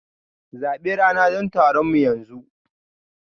Zabi rana don taronmu yanzu!